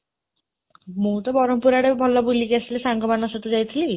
ମୁଁ ତ ବରହମପୁର ଆଡ଼େ ଭଲ ବୁଲିକି ଆସିଲି ସାଙ୍ଗମାନଙ୍କ ସହିତ ଯାଇଥିଲି